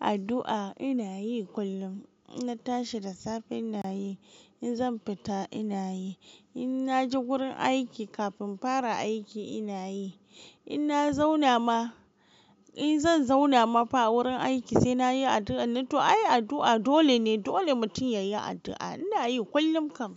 Addu'a ina yi kullum. Ina tashi da safe ina yi, in zan fita ina yi, in na je wurin aiki kafin fara aiki ina yi, in na zauna ma, in zan zauna ma fa wurin aiki sai na yi addu'a. Nan to ai addu'a dole ne, dole mutum ya yi addu'a. Ina yi kullum kam.